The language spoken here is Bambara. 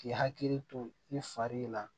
K'i hakili to i fari la